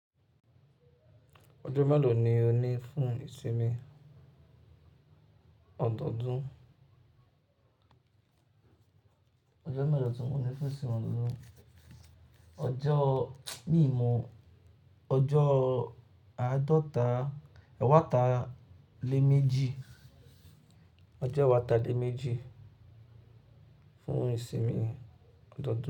Ọjọ́ mélòó ni o ní fún ìsinmi ọdọọdún? Ọjọ́ mélòó ni ti mò ní fún ìsinmi ọdọọdún? Ọjọ́, mi mọ, ọjọ́ àádọ́ta, ẹ̀wáta lé méjì. Ọjọ́ ẹ̀wáta lé méjì fún ìsinmi ọdọọdún.